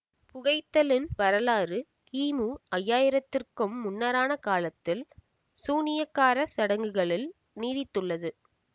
புகைத்தலின் வரலாறு கிமு ஐஆயிரத்திற்கும் முன்னரான காலத்தில் சூனியக்கார சடங்குகளில் நீடித்துள்ளது